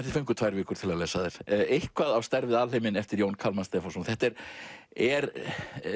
þið fenguð tvær vikur til að lesa þær eitthvað á stærð við alheiminn eftir Jón Kalmann Stefánsson þetta er er